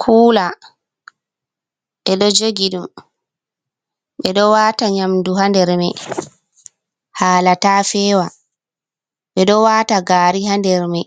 Kula, ɓe ɗo jogi dum. Ɓe ɗo wata nyamdu ha nder mai, hala ta fewa. Ɓe ɗo wata gari ha nder mai